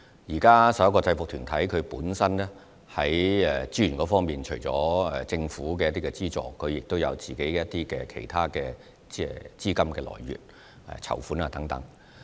就這11個制服團體在資源方面，目前除了獲得政府資助外，他們亦有自己的其他資金來源，例如籌款等。